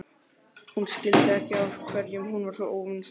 Hún skildi ekki af hverju hún var svona óvinsæl.